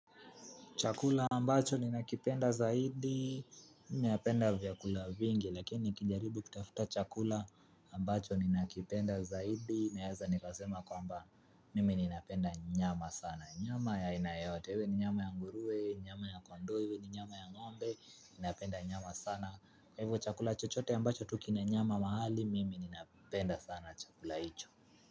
Chakula ambacho ninakipenda zaidi, mimi napenda vyakula vingi, lakini nikijaribu kutafuta chakula ambacho ninakipenda zaidi, naeza nikasema kwamba mimi ninapenda nyama sana. Nyama ya haina yoyote iwe ni nyama ya nguruwe, nyama ya kondoo iwe ni nyama ya ngombe, napenda nyama sana. Kwa hivyo chakula chochote ambacho tu kina nyama mahali, mimi ninapenda sana chakula hicho.